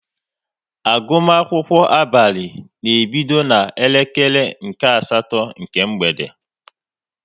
Agụmakwụkwọ abalị na-ebido na-elekere nke asatọ nke mgbede